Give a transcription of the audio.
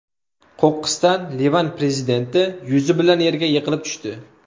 Qo‘qqisdan Livan prezidenti yuzi bilan yerga yiqilib tushdi.